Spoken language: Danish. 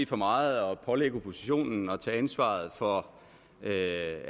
for meget at pålægge oppositionen at tage ansvaret for